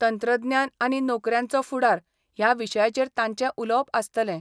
तंत्रज्ञान आनी नोकऱ्यांचो फुडार ह्या विशयाचेर तांचे उलोवप आसतले.